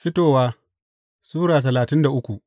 Fitowa Sura talatin da uku